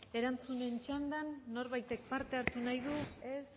erantzunen txandan norbaitek parte hartu nahi du ez